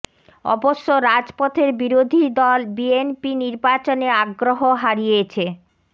অবশ্য রাজপথের বিরোধী দল বিএনপি নির্বাচনে আগ্রহ হারিয়েছে